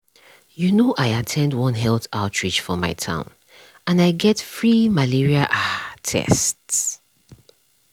you know i at ten d one health outreach for my town and i get free malaria ah tests.